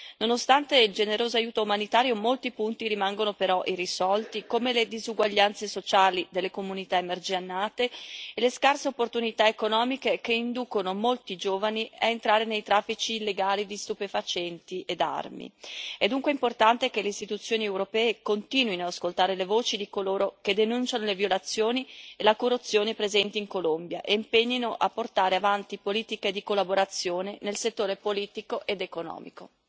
Nonostante il generoso aiuto umanitario molti punti rimangono però irrisolti, come le disuguaglianze sociali delle comunità emarginate e le scarse opportunità economiche che inducono molti giovani a entrare nei traffici illegali di stupefacenti e armi. È dunque importante che le istituzioni europee continuino ad ascoltare le voci di coloro che denunciano le violazioni e la corruzione presenti in Colombia e si impegnino a portare avanti politiche di collaborazione nel settore politico ed economico.